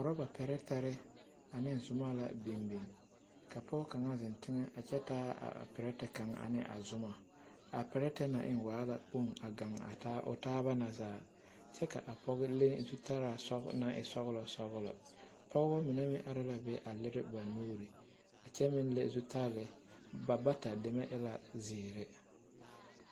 Urɔba pɛretɛre ane zumɔ la biŋbiŋ ka pɔɡe kaŋ zeŋ teŋɛ kyɛ taa a perɛte kaŋ ane a zumɔ a perɛte na eŋ waa la kpoŋ a ɡaŋ o taaba na zaa kyɛ ka a pɔɡe leŋ zutalaa naŋ e sɔɡelɔsɔɡelɔ pɔɡebɔ mine meŋ are la be a liri ba nuuri a kyɛ meŋ le zutali ba bata deme e la ziiri.